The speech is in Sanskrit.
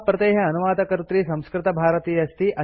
अस्य प्रतेः अनुवादकर्त्री संस्कृतभारती अस्ति